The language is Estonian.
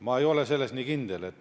Ma ei ole selles nii kindel.